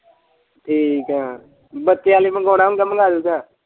ਠੀਕ ਏ ਬੱਚਿਆਂ ਲਈ ਮੰਗਵਾਉਣਾ ਹੁੰਗਾ ਮੰਗਵਾ ਲਓਗਾ।